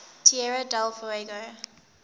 tierra del fuego